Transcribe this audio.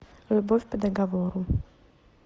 любовь по договору